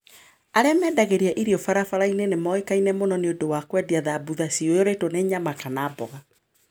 Arĩa marendagia irio barabara-inĩ nĩ moĩkaine mũno nĩ ũndũ wa kwendia samosas ciyũrĩtwo na nyama kana mboga.